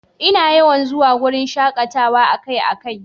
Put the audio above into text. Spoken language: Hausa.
Ina yawan zuwa wurin shakatawa akai-akai.